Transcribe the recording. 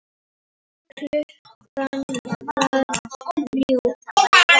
Klukkan varð þrjú.